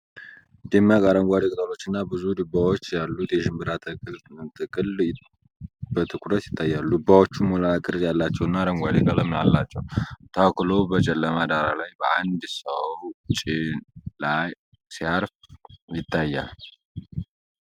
ደማቅ አረንጓዴ ቅጠሎችና ብዙ ዱባዎች ያሉት የሽንብራ ተክል ጥቅል በትኩረት ይታያል። ዱባዎቹ ሞላላ ቅርፅ ያላቸውና አረንጓዴ ቀለም አላቸው። ተክሉ በጨለማ ዳራ ላይ በአንድ ሰው ጭን ላይ ሲያርፍ ይታያል።